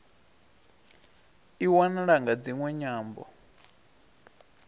i wanala nga dziṅwe nyambo